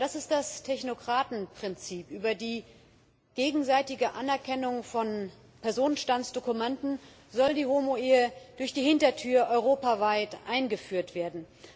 Aber das ist das Technokratenprinzip Über die gegenseitige Anerkennung von Personenstandsdokumenten soll die Homo Ehe durch die Hintertür europaweit eingeführt werden.